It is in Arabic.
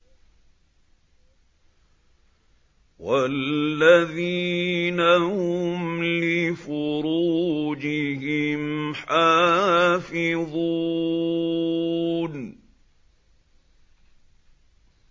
وَالَّذِينَ هُمْ لِفُرُوجِهِمْ حَافِظُونَ